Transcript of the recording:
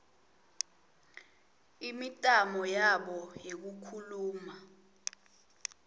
imitamo yabo yekukhuluma